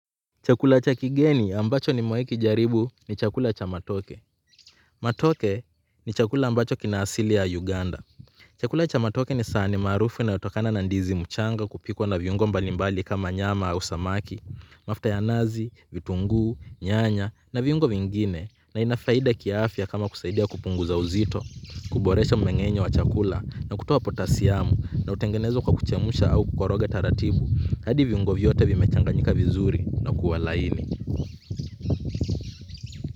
Chakula cha kigeni ambacho nimewahi kijaribu ni chakula cha matoke. Matoke ni chakula ambacho kina asili ya Uganda. Chakula cha matoke ni sahani maarufu inayotokana na ndizi mchanga kupikwa na viungo mbalimbali kama nyama au samaki. Mafuta ya nazi, vitunguu, nyanya na viungo vingine, na ina faida kiafya kama kusaidia kupunguza uzito, kuboresha mmeng'enyo wa chakula na kutoa potasiamu, na hutengenezwa kwa kuchemshwa au kukoroga taratibu hadi viungo vyote vimechanganyika vizuri na kuwa laini.